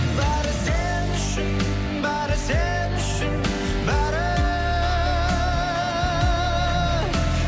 бәрі сен үшін бәрі сен үшін бәрі